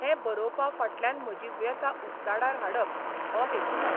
हें बरोवपा फाटल्यानय म्हजी व्यथा उक्ताडार हाडप हो हेतू ना.